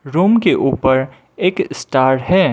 Room के ऊपर एक स्टार है।